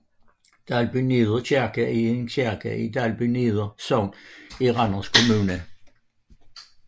Dalbyneder Kirke er en kirke i Dalbyneder Sogn i Randers Kommune